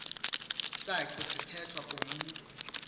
saci sithethwa kumntu